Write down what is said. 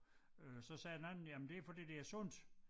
Øh så sagde den anden ja men det fordi det er sundt